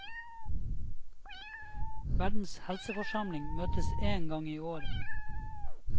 Verdens helseforsamling møtes én gang i året.